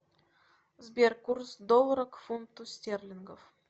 сбер курс доллара к фунту стерлингов